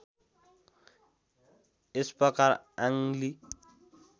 यस प्रकार आङ ली